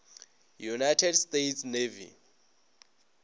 united states navy